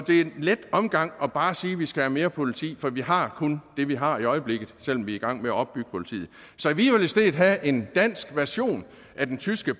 er en let omgang bare at sige at vi skal have mere politi for vi har kun det vi har i øjeblikket selv om vi er i gang med at opbygge politiet så vi vil i stedet have en dansk version af den tyske